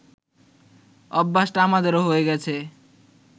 অভ্যাসটা আমাদেরও হয়ে গেছে